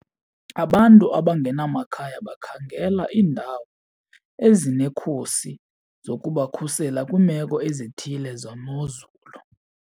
Abantu abangenamakhaya bakhangela iindawo ezinekhusi zokubakhusela kwiimeko ezithile zemozulu.